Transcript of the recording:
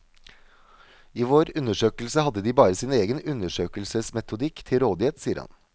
I vår undersøkelse hadde de bare sin egen undersøkelsesmetodikk til rådighet, sier han.